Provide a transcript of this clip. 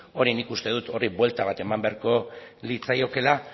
orain nik uste dut horri buelta bat eman beharko litzaiokeela